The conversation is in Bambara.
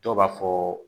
Dɔw b'a fɔ